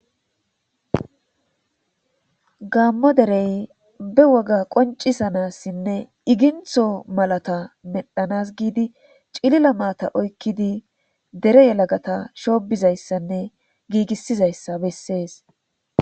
gaammo derey be woga qoncisanassinne igintho malata medhanas giidi cilila maata oykkidi dere yelagata shoobizayssanne giigissizayssa bessees